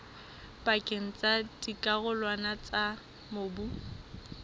pakeng tsa dikarolwana tsa mobu